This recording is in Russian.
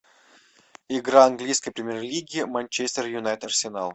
игра английской премьер лиги манчестер юнайтед арсенал